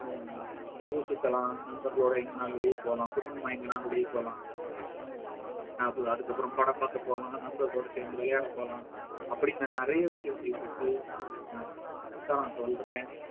ஊர் சுத்தலாம் நண்பர்களோட எங்கனாலும் வெளிய போலாம் குடும்பமா எங்கனாலும் வெளிய போலாம் அது~ அதுக்கப்புறம் படம் பார்க்க போனோம் நண்பர்களோட சேர்ந்து விளையாட போகலாம் அப்படீன்னு நிறைய விஷயங்கள் இருக்கு அஹ் அதைத்தான் நான் சொல்றேன்